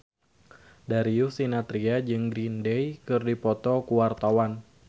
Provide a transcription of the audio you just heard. Darius Sinathrya jeung Green Day keur dipoto ku wartawan